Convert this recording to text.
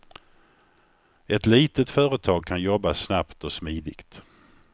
Ett litet företag kan jobba snabbt och smidigt.